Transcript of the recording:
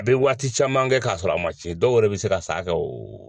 A bɛ waati caman kɛ k'a sɔrɔ a ma ci dɔw yɛrɛ bɛ se ka sa kɛ o